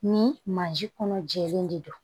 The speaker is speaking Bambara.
Ni mansin kɔnɔ jɛlen de don